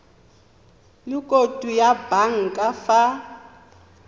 le khoutu ya banka fa